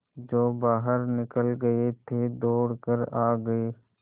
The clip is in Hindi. जो बाहर निकल गये थे दौड़ कर आ गये